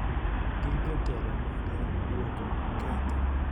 gi jotelo mage duoko ketho